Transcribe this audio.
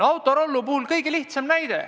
Autorollo puhul toimunu on kõige selgem näide.